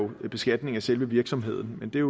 beskatning af selve virksomheden men det er